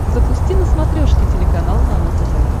запусти на смотрешке телеканал нано тв